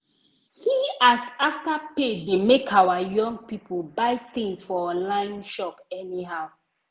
see as afterpay dey make our young people buy tins for online shop anyhow.